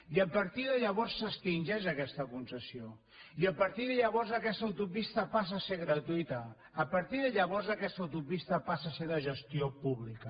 i a partir de llavors s’extingeix aquesta concessió i a partir de llavors aquesta autopista passa a ser gratuïta a partir de llavors aquesta autopista passa a ser de gestió pública